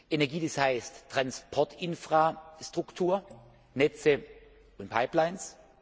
Energie, das heißt Transportinfrastruktur Netze und Pipelines.